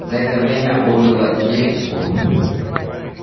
за это время умерло девять кур